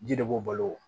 Ji de b'u balo